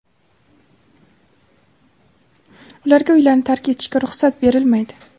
ularga uylarini tark etishga ruxsat berilmaydi.